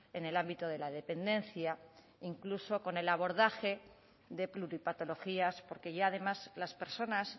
en el ámbito de la dependencia incluso con el abordaje de pluripatologías porque ya además las personas